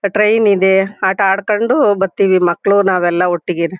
Train ಇದೆ ಆಟ ಆಡ್ಕೊಂಡು ಬರ್ತಿವಿ ಮಕ್ಳು ನಾವೆಲ್ಲಾ ಒಟ್ಟಿಗೇನೇ.